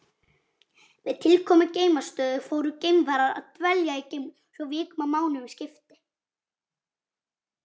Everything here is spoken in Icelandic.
Með tilkomu geimstöðva fóru geimfarar að dvelja í geimnum svo vikum og mánuðum skipti.